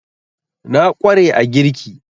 Na ƙware a girki